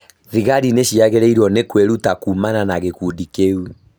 Thigari nĩ ciagĩrĩrwo nĩ kwĩruta kuumana na gĩkundi kĩu.